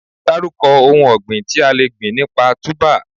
Dárúkọ ohun ọ̀gbìn tí a le gbìn nípa Túbà?